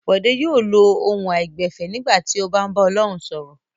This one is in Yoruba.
Bọ̀dé yóò lo ohùn àìgbẹ̀fẹ̀ nígbà tí ó bá ń bá Ọlọ́run sọ̀rọ̀.